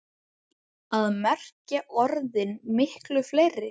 Hvað merkja orðin miklu fleiri?